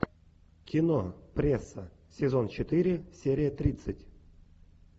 кино пресса сезон четыре серия тридцать